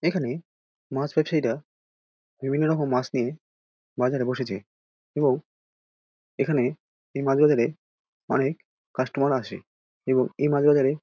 এইখানে মাছ ব্যবসায়ী রা বিভিন্ন রকম মাছ নিয়ে বাজারে বসেছে এবং এখানে এই মাছ বাজারে অনেক কাস্টমার আসে এবং এই মাছ বাজারে--